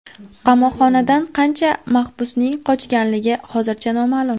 Qamoqxonadan qancha mahbusning qochganligi hozircha noma’lum.